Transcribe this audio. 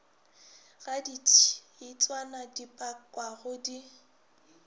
ga ditšhitswana di pakwago di